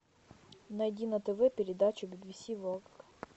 найди на тв передачу бибиси ворлд